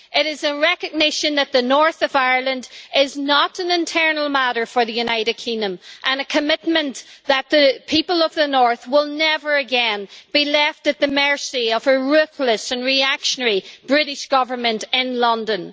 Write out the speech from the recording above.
It is a recognition that the north of Ireland is not an internal matter for the United Kingdom, and a commitment that the people of the north will never again be left at the mercy of a ruthless and reactionary British Government in London.